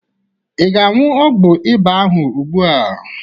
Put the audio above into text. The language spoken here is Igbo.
Ị ga-aṅụ ọgwọ ịba ahụ ugbu a?